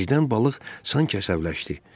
Birdən balıq sanki əsəbləşdi.